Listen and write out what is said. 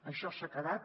això s’ha quedat